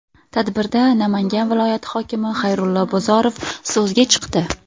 Tadbirda Namangan viloyati hokimi Xayrullo Bozorov so‘zga chiqdi.